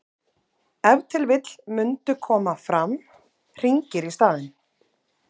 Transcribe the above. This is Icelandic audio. ef til vill mundu koma fram hringir í staðinn